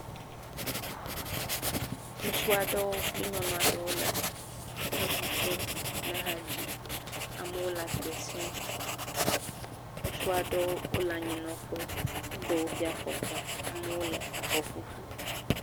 Ŋutsuaɖewo kpli nyɔnuaɖewo le eʋuƒom, le ha dzim, amo le akpesim, Ŋutsuaɖewo wole anyinɔƒe, woɖe woƒe afɔkpa, amewo le afɔ ƒuƒlu.